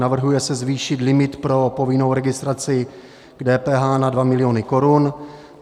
Navrhuje se zvýšit limit pro povinnou registraci k DPH na 2 miliony korun.